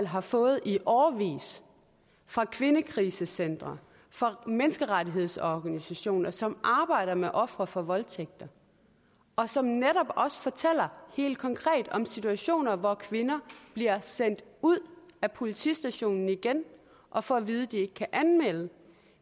har fået i årevis fra kvindekrisecentre fra menneskerettighedsorganisationer som arbejder med ofre for voldtægt og som netop også fortæller helt konkret om situationer hvor kvinder bliver sendt ud af politistationen igen og får at vide at de ikke kan anmelde